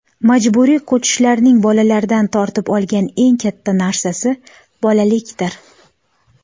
Majburiy ko‘chishlarning bolalardan tortib olgan eng katta narsasi bolalikdir.